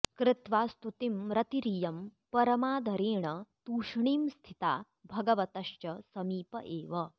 कृत्वा स्तुतिं रतिरियं परमादरेण तूष्णीं स्थिता भगवतश्च समीप एव